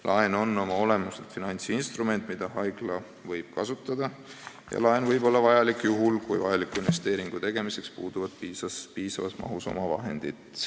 Laen on oma olemuselt finantsinstrument, mida haigla võib kasutada, ja laen võib olla vajalik juhul, kui vajaliku investeeringu tegemiseks omavahendeid ei piisa.